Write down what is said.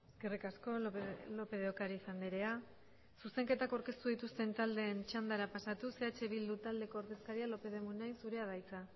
eskerrik asko lópez de ocariz andrea zuzenketak aurkeztu dituzten taldeen txandara pasatuz eh bildu taldeko ordezkaria lópez de munain zurea da hitza